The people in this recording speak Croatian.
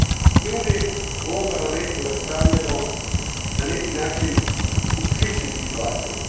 Mi uvijek u ovom Parlamentu raspravljamo na neki način u sličnim situacijama.